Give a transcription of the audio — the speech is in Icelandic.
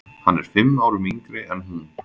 Hann er fimm árum yngri en hún.